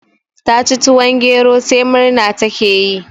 Ta ci tuwon gero sai murna ta ke yi